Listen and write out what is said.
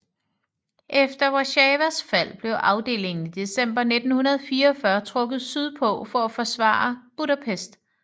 Efter Warszawas fald blev afdelingen i december 1944 trukket sydpå for at forsvare Budapest